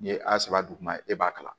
N'i ye a sɛbɛ duguma e b'a kalan